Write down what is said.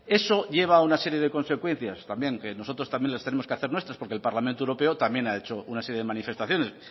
eso lleva a una serie de consecuencias también que nosotros también las tenemos que hacer nuestras porque el parlamento europeo también ha hecho una serie de manifestaciones